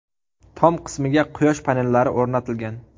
Tom qismiga quyosh panellari o‘rnatilgan.